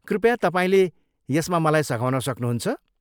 कृपया तपाईँले यसमा मलाई सघाउन सक्नुहुन्छ?